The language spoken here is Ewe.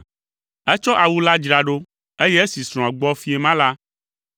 Etsɔ awu la dzra ɖo, eye esi srɔ̃a gbɔ fiẽ ma la,